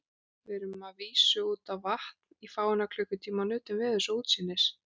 Við rerum að vísu út á vatn í fáeina klukkutíma og nutum veðurs og útsýnis.